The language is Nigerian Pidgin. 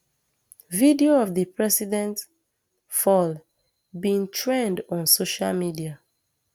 video of di president um fall bin trend on social media